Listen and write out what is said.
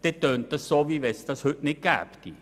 Das klingt so, als ob es das heute nicht gäbe.